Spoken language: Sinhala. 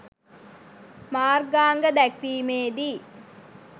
මාර්ගාංග දැක්වීමේදී